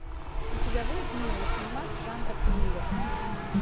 у тебя будет милый фильмас жанра триллер